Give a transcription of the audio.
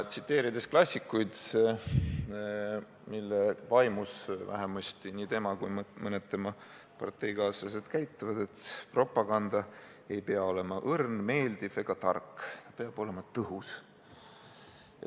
Tsiteerides klassikuid, mille vaimus nii tema kui ka mõned tema parteikaaslased käituvad, ei pea propaganda olema õrn, meeldiv ega tark, vaid see peab olema tõhus.